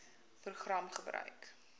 program gebruik